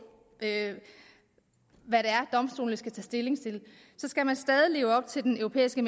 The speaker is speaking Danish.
hvad det er domstolene skal tage stilling til skal man stadig leve op til den europæiske